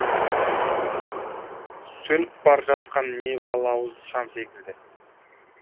сөніп бар жатқан небалауыз шам секілді